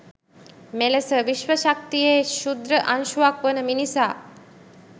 මෙලෙස විශ්ව ශක්තියේ ක්‍ෂුද්‍ර අංශුවක් වන මිනිසා